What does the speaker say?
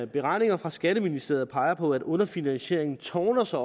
beregninger fra skatteministeriet peger på at underfinansieringen tårner sig